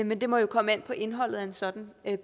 men det må jo komme an på indholdet af en sådan